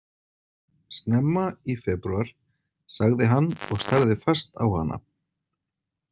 Snemma í febrúar, sagði hann og starði fast á hana.